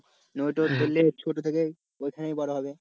ধরলে ছোটো থেকেই ওইখানে বড়ো হবে।